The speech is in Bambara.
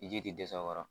Ji tɛ dɛsɛ a kɔrɔ